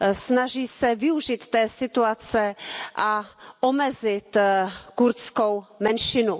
Snaží se využít té situace a omezit kurdskou menšinu.